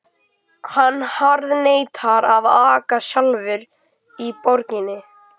Hann harðneitar að aka sjálfur í borginni.